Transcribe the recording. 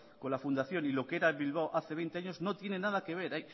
con la fundación y lo que era el bilbao de hace veinte años no tiene nada que ver